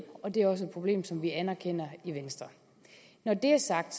og det er også et problem som vi anerkender i venstre når det er sagt